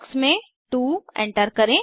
box में 2 enter करें